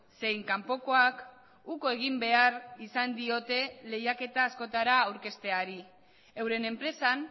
zein kanpokoak uko egin behar izan diote lehiaketa askotara aurkezteari euren enpresan